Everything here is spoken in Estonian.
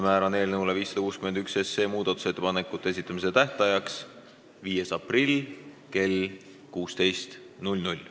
Määran eelnõu 561 muudatusettepanekute esitamise tähtajaks 5. aprilli kell 16.